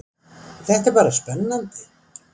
Þetta er bara spennandi